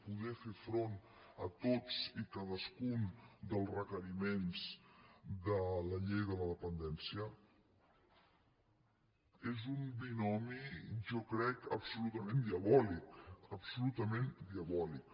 poder fer front a tots i cadascun dels requeriments de la llei de la dependència és un binomi jo crec absolutament diabòlic absolutament diabòlic